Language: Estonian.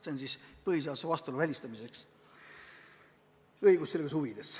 See on vajalik põhiseadusega vastuolu välistamiseks, õigusselguse huvides.